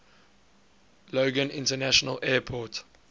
logan international airport